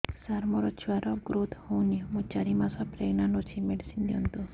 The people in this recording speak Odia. ସାର ମୋର ଛୁଆ ର ଗ୍ରୋଥ ହଉନି ମୁ ଚାରି ମାସ ପ୍ରେଗନାଂଟ ଅଛି ମେଡିସିନ ଦିଅନ୍ତୁ